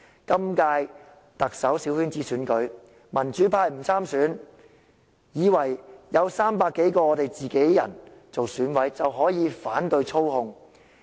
今屆特首小圈子選舉，民主派不派人參選，以為有300多個"自己人"做選舉委員會委員就能反操控。